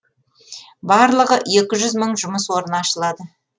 барлығы екі жүз мың жұмыс орны ашылады